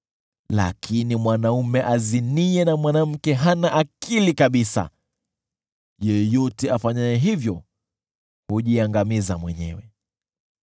Lakini mwanaume aziniye na mwanamke hana akili kabisa; yeyote afanyaye hivyo hujiangamiza mwenyewe.